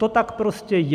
To tak prostě je.